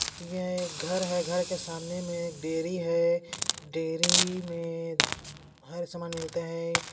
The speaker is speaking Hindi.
यह एक घर है घर के सामने में एक डेरी है डेरी में हर सामान मिलता हैं।